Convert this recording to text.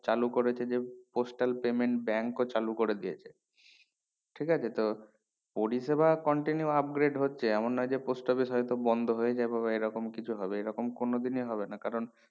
চালু করে যে postal payment bank ও চালু করে দিয়েছে ঠিক আছে তো পরিষেবা continue upgrede হচ্ছে এমন নোই যে post office হয় তো বন্ড হয়ে যাবে বা এই রকম কিছু হবে এই রকম কোনোদিনই হবে না কারণ